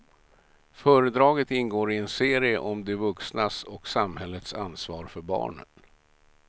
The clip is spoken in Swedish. Föredraget ingår i en serie om de vuxnas och samhällets ansvar för barnen.